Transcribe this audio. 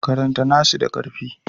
Karanta nassi da ƙarfi.